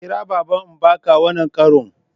Kira baba Mbaka wannan karon!